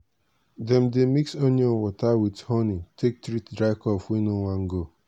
dem dey mix onion water with honi take treat dry cough wey no wan go.